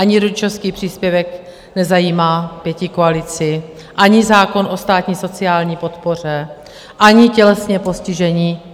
Ani rodičovský příspěvek nezajímá pětikoalici, ani zákon o státní sociální podpoře, ani tělesně postižení.